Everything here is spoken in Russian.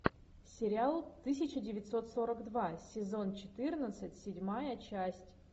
сериал тысяча девятьсот сорок два сезон четырнадцать седьмая часть